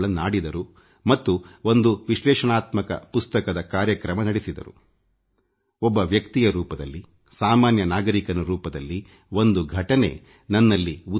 ನಾನು ಮೊದಲೇ ಹೇಳಿದಂತೆ ಒಬ್ಬ ಸಾಮಾನ್ಯ ನಾಗರಿಕನಾಗಿ ನನ್ನ ಮನಸ್ಸಿನ ಮೇಲೂ ಇದು ಪ್ರಭಾವ ಬೀರುತ್ತಿದೆ